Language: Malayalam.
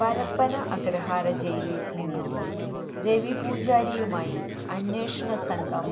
പരപ്പന അഗ്രഹാര ജയിലിൽ നിന്നും രവി പൂജാരിയുമായി അന്വേഷണ സംഘം